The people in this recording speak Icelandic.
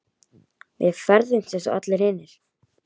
Við ferðumst eins og allir hinir.